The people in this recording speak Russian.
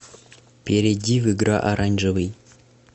перейди в игра оранжевый